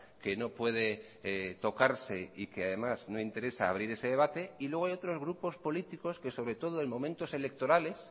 que no puede tocarse y que además no interesa abrir ese debate y luego hay otros grupos políticos que sobre todo en momentos electorales